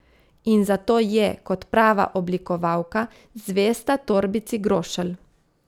In zato je, kot prava oblikovalka, zvesta torbici Grošelj.